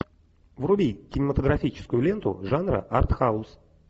вруби кинематографическую ленту жанра артхаус